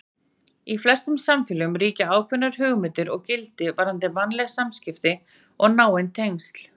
Í flestum samfélögum ríkja ákveðnar hugmyndir og gildi varðandi mannleg samskipti og náin tengsl.